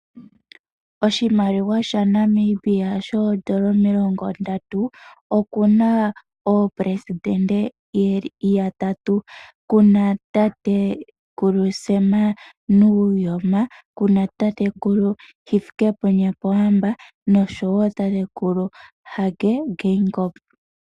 Oshimaliwa shaNamibia shomilongo ndatu oshina aaleli yo Shilongo yeli yatatu ngaashi taa landula: Tatekulu Sam Nuujoma, tatekulu Hifikepunye Pohamba osho wo tatekulu Hage Geingob.